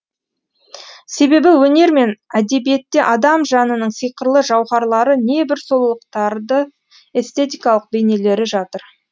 себебі өнер мен әдебиетте адам жанының сиқырлы жауһарлары небір сұлулықтарды эстетикалық бейнелері жатыр